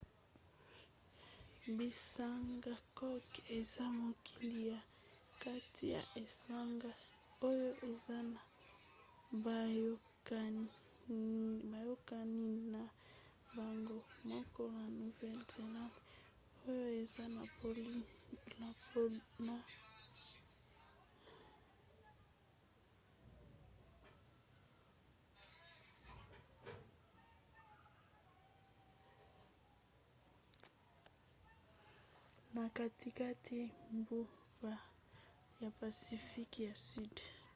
bisanga cook eza mokili ya kati ya esanga oyo eza na boyokani na bango moko na nouvelle-zélande oyo eza na polynésie na katikati ya mbu ya pacifique ya sudi